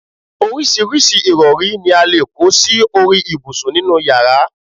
oríṣiríṣi ìrọ̀rí ni a lè kó sí orí ibùsùn nínú yàrá